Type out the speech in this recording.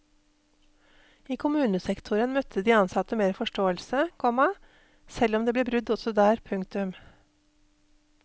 I kommunesektoren møtte de ansatte mer forståelse, komma selv om det ble brudd også der. punktum